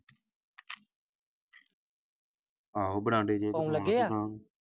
ਆਹੋ ਬਰਾਂਡੇ ਜੇ ਪਾਉਣ ਲੱਗੇ ਆ।